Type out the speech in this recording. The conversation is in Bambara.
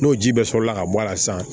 N'o ji bɛɛ sɔrɔla ka bɔ a la sisan